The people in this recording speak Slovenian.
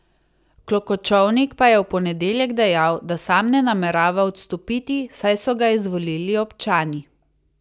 Klokočovnik pa je v ponedeljek dejal, da sam ne namerava odstopiti, saj so ga izvolili občani.